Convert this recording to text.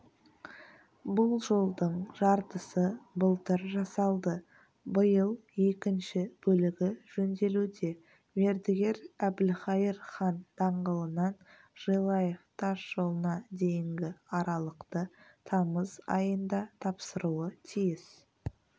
бұл жолдың жартысы былтыр жасалды биыл екінші бөлігі жөнделуде мердігер әбілхайыр хан даңғылынан желаев тасжолына дейінгі аралықты тамыз айында тапсыруы тиіс